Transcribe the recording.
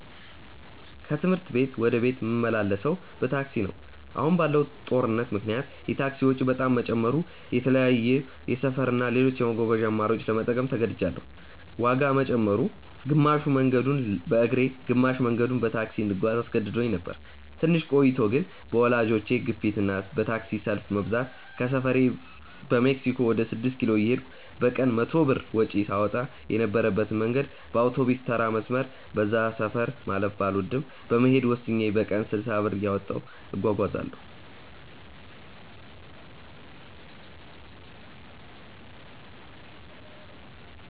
ከትምህርት ቤት ወደ ቤት ምመላለሰው በታክሲ ነው። አሁን ባለው ጦርነት ምክንያት የታክሲ ወጪ በጣም መጨመሩ የተለያዩ የሰፈር እና ሌሎች የመጓጓዣ አማራጮችን ለመጠቀም ተገድጅያለው። ዋጋ መጨመሩ፣ ግማሽ መንገዱን በእግሬ ግማሽ መንገዱን በታክሲ እንድጓዝ አስገድዶኝ ነበር። ትንሽ ቆይቶ ግን በወላጆቼ ግፊት እና በታክሲ ሰልፍ መብዛት ከሰፈሬ በሜክሲኮ ወደ ስድስት ኪሎ እየሄድኩ በቀን 100 ብር ወጪ ሳወጣ የነበረበትን መንገድ በአውቶቢስተራ መስመር (በዛ ሰፈር ማለፍ ባልወድም) ለመሄድ ወስኜ በቀን 60 ብር እያወጣሁ እጓጓዛለው።